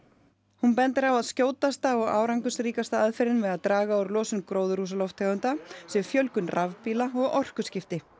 hún bendir á að skjótasta og árangursríkasta aðferðin við að draga úr losun gróðurhúsalofttegunda sé fjölgun rafbíla og orkuskipti